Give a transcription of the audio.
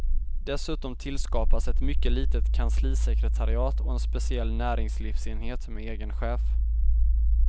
Dessutom tillskapas ett mycket litet kanslisekretariat och en speciell näringslivsenhet med egen chef.